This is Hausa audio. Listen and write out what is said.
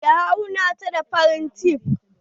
Ya auna ta da farin tef.